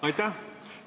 Aitäh!